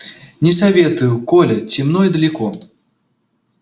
не советую коля темно и далеко